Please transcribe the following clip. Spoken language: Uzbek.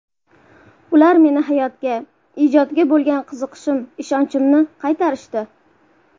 Ular meni hayotga, ijodga bo‘lgan qiziqishim, ishonchimni qaytarishdi.